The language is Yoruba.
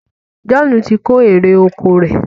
John tí kò èrò ọkọ̀ rẹ.